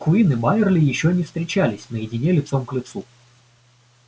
куинн и байерли ещё не встречались наедине лицом к лицу